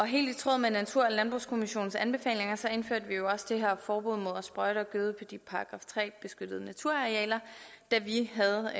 helt i tråd med natur og landbrugskommissionens anbefalinger indførte vi jo også det her forbud mod at sprøjte og gøde på de § tre beskyttede naturarealer da vi sad